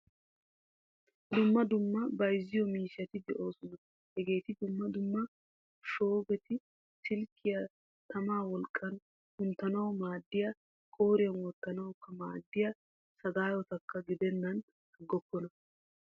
Dumma dumma bayzziyo miishshati de'oosona. Hageetti dumma dumma shuboti silkiya tama wolqqan kunttanawu maadiya qoriyan wottanawukka maadiya sagayotakka gidenan agokona.